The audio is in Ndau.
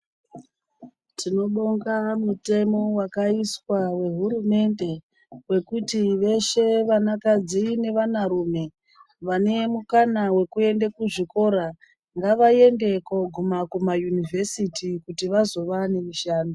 Tinobonga mutemo wakaiswa wehurumende, wekuti veshe vanakadzi nevanarume vane mukana wekeunde kuzvikora, ngavaende koguma kuma yunivhesiti kuti vazova nemishando.